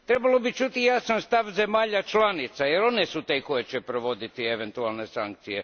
Trebalo bi čuti i jasan stav zemalja članica jer one su te koje će provoditi eventualne sankcije.